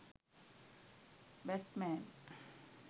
batman